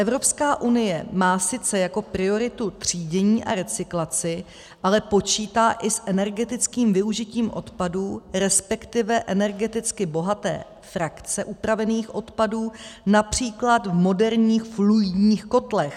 Evropská unie má sice jako prioritu třídění a recyklaci, ale počítá i s energetickým využitím odpadů, respektive energeticky bohaté frakce upravených odpadů, například v moderních fluidních kotlech.